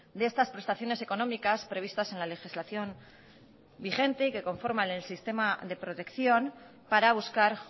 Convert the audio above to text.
de estas prestaciones económicas previstas en la legislación vigente y que conforman el sistema de protección para buscar